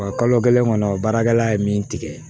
Wa kalo kelen kɔnɔ baarakɛla ye min tigɛ